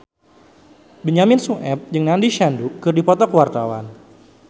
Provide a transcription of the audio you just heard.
Benyamin Sueb jeung Nandish Sandhu keur dipoto ku wartawan